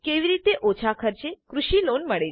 કેવી રીતે ઓછા ખર્ચે કૃષિ લોન મળે